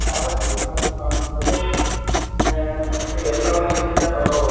ಬಾಳ ಸೂಪರ್ ಆಗಿ ಕಾಣುತ್ತದೆ ಆ ಎಲ್ಲವನ್ನು ಇಲ್ಲಿಂದ ನೋಡಬಹುದು .